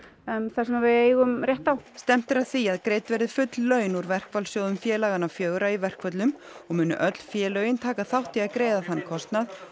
það sem við eigum rétt á stefnt er að því að greidd verði full laun úr verkfallssjóðum félaganna fjögurra í verkföllum og munu öll félögin taka þátt í að greiða þann kostnað